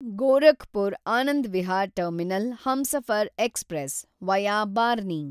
Gorakhpur Anand Vihar terminal Humsafar express, via Barni